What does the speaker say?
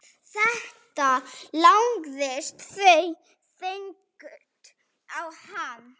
Þetta lagðist þungt á hann.